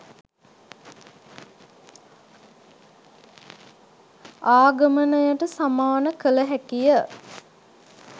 ආගමනයට සමාන කළ හැකිය